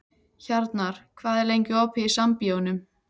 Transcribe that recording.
Hjarnar, hvað er lengi opið í Sambíóunum?